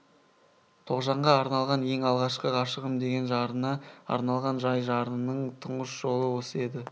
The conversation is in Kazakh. тоғжанға арналған ең алғашқы ғашығым деген жарына арналған жай жырының тұнғыш жолы осы еді